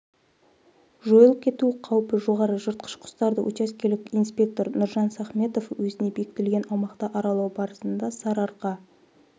жойылып кету қаупі жоғары жыртқыш құстарды учаскелік инспектор нұржан сахметов өзіне бекітілген аумақты аралау барысында сарыарқа